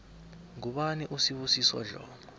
ngubani usibusiso dlomo